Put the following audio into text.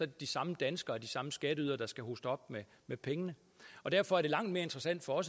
de samme danskere de samme skatteydere der skal hoste op med pengene og derfor er det langt mere interessant for